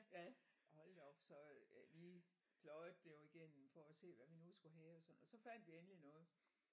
Ja hold da op så øh vi pløjet det jo igennem for at se af hvad vi nu skulle have og sådan og så fandt vi endelig noget